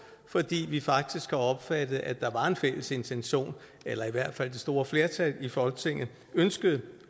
fordi vi faktisk har opfattet at der var en fælles intention eller i hvert fald at det store flertal i folketinget ønskede